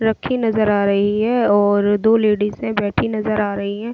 रखी नजर आ रही है और दो लेडीजे हैं बैठी नजर आ रही है।